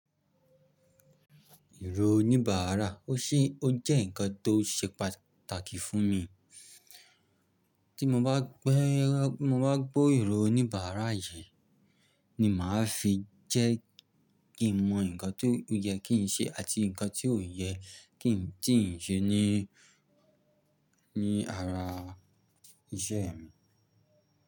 Ìró oníbàárà, ó ṣé ó jẹ́ ǹkan tó ṣe pàtàkì fún mi. Tí mo bá gbé, mo bá gbo ìró oníbàárà yí ni mà á fi jẹ́ kí n mọ ǹkan tó yẹ kí n ṣe àti ǹkan tí ò yẹ kí n, tí n ṣe ní, ní ara iṣẹ́ mi.